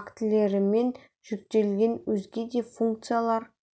актілерімен жүктелген өзге де функциялар